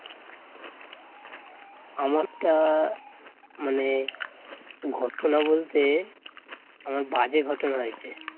আমারটা মানে ঘটনা বলতে অনেক বাজে ঘটনা হয়েছে